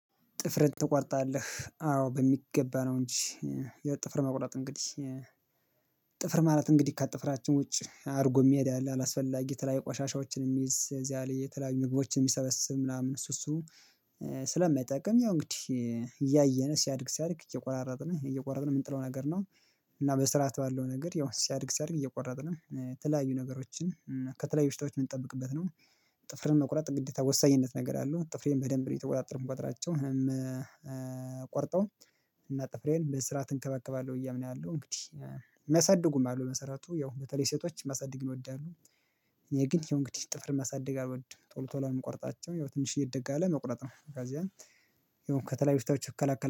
ጥፍርህን ትቆርጣለህ አዎ በሚገባ ነው? እንጂ የጥፍር መቁረጥ እንግዲህ ጥፍር ማለት እንግዲህ ከጠፍራችን ውጪ አድርጎ የሚሄድ አለ አላስፈላጊ የተለያየ ቋሻሻዎችን የሚይዝ እዚያ ላይ የተለያዩ ምግቦችን የሚሰበስብ ምናምን እሱ እሱ ስለማይጠቅም ያው እንግዲህ እያየን ሲያድግ ሲያድግ እየቆራረጥን እየቆረጥን የምንጥለው ነገር ነው። እና በስራት ባለው ነገር ያው ሲያድግ ሲያድግ እየቆረጥን ነው የተለያዩ ነገሮችን ከተለያዩ በሽታዎች የምንጠብቅበት ነው። ጥፍርን መቁረጥ ግዴታ ወሳኝነት ነገር አለው ጥፍሬን በደንብ እየተቆጣጠርኩ እምቆጥራቸው እኔም ቆርጠው እና ጥፍሬን በስራ እንከባከባለህ ብዬ አምናለሁ። እንግዲህ መሰድጉም አለው መሰረቱ ያው በተለይ ሴቶች ማሳደግ ይወዳሉ። እኔ ግን የእንግዲህ ጥፍርን ማሳደግ አልወድም ቶሎ ቶሎ ምቆርጣቸው ያው ትንሽዬ እድግ ካለ መቁረጥ ነው ከዚያን ይሁን ከተለያዩ በሽታዎች እከለከለ